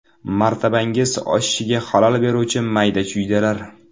Martabangiz oshishiga xalal beruvchi mayda-chuydalar.